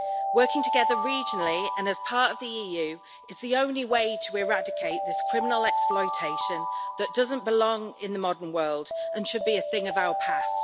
Working together regionally, and as part of the EU, is the only way to eradicate this criminal exploitation that doesn't belong in the modern world and should be a thing of our past.